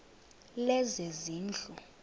lezezindlu